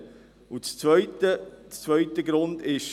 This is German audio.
Der zweite Grund ist: